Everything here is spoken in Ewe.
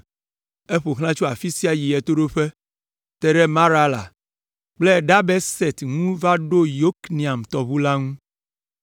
Eƒo xlã tso afi sia yi ɣetoɖoƒe, te ɖe Marala kple Dabeset ŋu va ɖo Yokneam tɔʋu la ŋu.